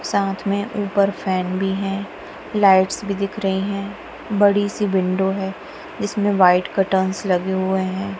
साथ में ऊपर फैन भी है लाइट्स भी दिख रही है बड़ी सी विंडो है जिसमें व्हाइट कर्टेनस लगे हुए है।